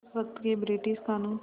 उस वक़्त के ब्रिटिश क़ानून